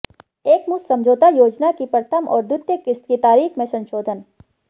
एक मुश्त समझौता योजना की प्रथम और द्वितीय किश्त की तारीख में संशोधन